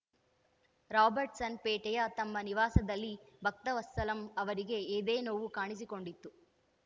ರಾಬರ್ಟ್‌ಸನ್‌ಪೇಟೆಯ ತಮ್ಮ ನಿವಾಸದಲ್ಲಿ ಭಕ್ತವತ್ಸಲಂ ಅವರಿಗೆ ಎದೆನೋವು ಕಾಣಿಸಿಕೊಂಡಿತ್ತು